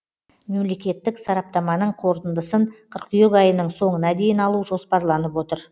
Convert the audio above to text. мемлекеттік сараптаманың қорытындысын қыркүйек айының соңына дейін алу жоспарланып отыр